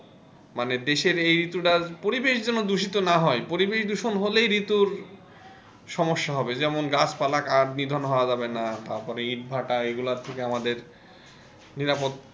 মানে দেশের এই ঋতুটা পরিবেষের জন্য দূষিত না হয় পরিবেষ দূষক হলেই ঋতুর সমস্যা হবে যেমন যেমন গাছ পালা কাট নিধন করা যাবে না তারপরে ইট ভাটা এগুলোর থেকে আমাদের নিরাপদ,